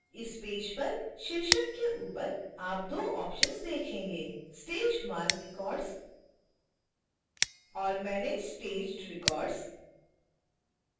इस पेज पर शीर्षक के ऊपर आप दो ऑप्शन्स देखेंगे